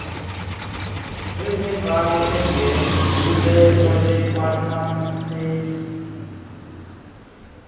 nezembali engenkcubeko likwanommeli